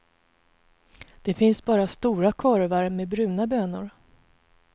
Det finns bara stora korvar med bruna bönor.